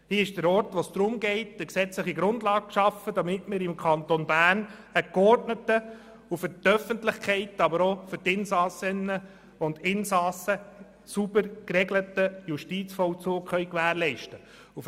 Hier ist der Ort, wo es darum geht, eine gesetzliche Grundlage zu schaffen, damit wir im Kanton Bern einen geordneten und sowohl für die Öffentlichkeit wie auch für die Insassinnen und Insassen sauber geregelten Justizvollzug gewährleisten können.